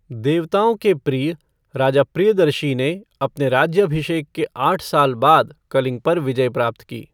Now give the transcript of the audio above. देवताओं के प्रिय, राजा प्रियदर्शी ने अपने राज्याभिषेक के आठ साल बाद कलिंग पर विजय प्राप्त की।